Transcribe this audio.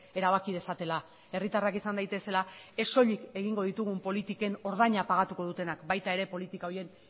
erabaki dezatela herritarrak izan daitezela ez soilik egingo ditugun politiken ordaina pagatuko dutenak baita ere politika horien